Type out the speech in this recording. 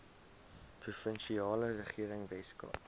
provinsiale regering weskaap